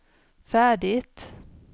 färdigt